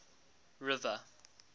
river